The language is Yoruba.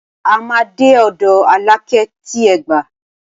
A máa dé ọ̀dọ̀ Alákẹ́ ti Ẹ̀gbá.